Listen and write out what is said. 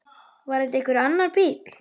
Var þetta einhver annar bíll?